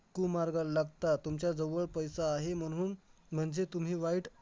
एकदा असं झालं की आमच्या मॅडमने आम्हाला प्रयोग दिलेले ही नववीची गोष्ट आहे